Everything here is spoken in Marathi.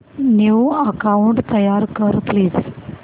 न्यू अकाऊंट तयार कर प्लीज